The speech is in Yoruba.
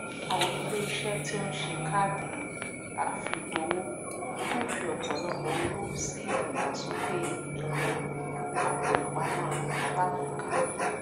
àwọn iléiṣẹ tí ó ń ṣe káàdì àfigbowò ń fi ọpọlọpọ owó sí ìdàgbàsókè ẹrọ àpòìpamọ alágbèéká